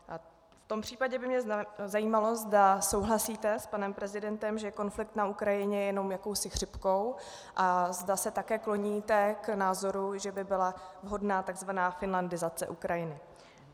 V tom případě by mě zajímalo, zda souhlasíte s panem prezidentem, že konflikt na Ukrajině je jenom jakousi chřipkou, a zda se také kloníte k názoru, že by byla vhodná tzv. finlandizace Ukrajiny.